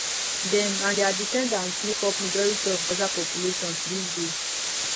dem and dia descendants make up majority of gaza population to dis day